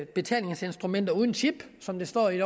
betalingsinstrumenter uden chip som der står i